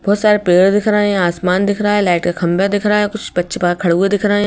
बहुत सारे पेड़ दिख रहे हैं आसमान दिख रहा है लाइट का खंबा दिख रहा है कुछ बच्चे खड़े हुए दिख रहे हैं।